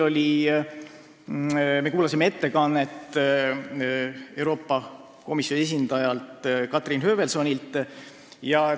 Me kuulasime Euroopa Komisjoni esindaja Katrin Höövelsoni ettekannet.